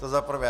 To za prvé.